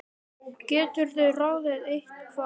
geturðu ráðið, eða hvað?